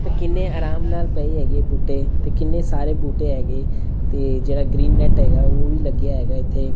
ਤੇ ਕਿੰਨੇ ਆਰਾਮ ਨਾਲ ਪਏ ਹੈਗੇ ਬੂਟੇ ਤੇ ਕਿੰਨੇ ਸਾਰੇ ਬੂਟੇ ਹੈਗੇ ਤੇ ਜਿਹੜਾ ਗ੍ਰੀਨ ਨੈਟ ਹੈਗਾ ਉਹ ਵੀ ਲੱਗਿਆ ਹੈਗਾ ਇੱਥੇ। ਤੇ